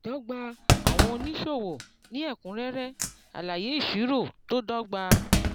ìdọ́gba àwọn oníṣòwò ní ẹ̀kúnrẹ́rẹ́ alaye ìṣirò tó dọ́gba.